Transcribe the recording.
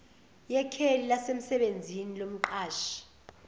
yekheli lasemsebenzini lomqashi